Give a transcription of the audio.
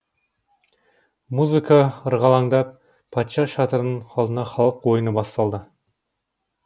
музыка ырғаландап патша шатырының алдында халық ойыны басталды